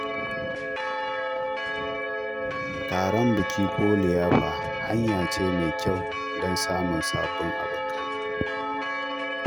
Taron biki ko liyafa hanya ce mai kyau don samun sabbin abokai.